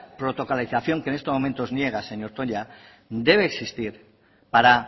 protocolización que en estos momentos niega señor toña debe existir para